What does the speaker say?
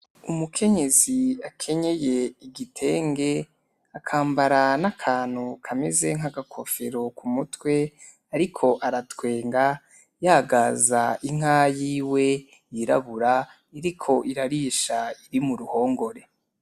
Umukenyezi akanyeye igitenge akambara n'akantu kameze nk'agakofero ku mutwe ariko aratwenga yagaza inka yiwe y'irabura iriko irarisha iri mu ruhongore.